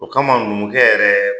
O kama numukɛ yɛrɛ